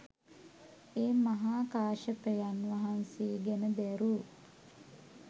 ඒ මහා කාශ්‍යපයන් වහන්සේ ගැන දැරූ